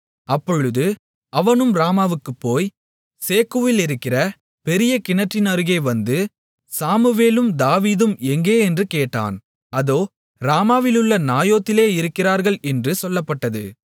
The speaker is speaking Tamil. அப்பொழுது அவனும் ராமாவுக்குப் போய் சேக்குவிலிருக்கிற பெரிய கிணற்றின் அருகே வந்து சாமுவேலும் தாவீதும் எங்கே என்று கேட்டான் அதோ ராமாவிலுள்ள நாயோதிலே இருக்கிறார்கள் என்று சொல்லப்பட்டது